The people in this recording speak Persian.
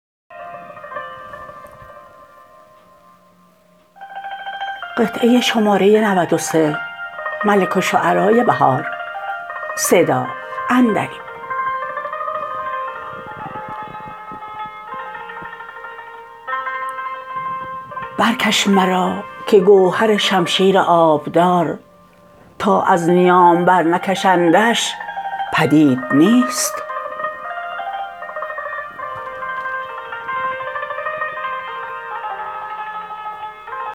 برکش مراکه گوهر شمشیر آبدار تا از نیام برنکشندش پدید نیست